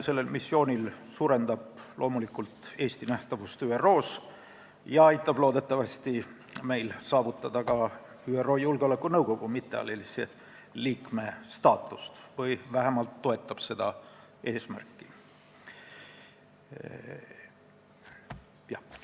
Sellel missioonil osalemine suurendab loomulikult Eesti nähtavust ÜRO-s ja aitab meil loodetavasti saavutada ka ÜRO Julgeolekunõukogu mittealalise liikme staatust või vähemalt toetab seda eesmärki.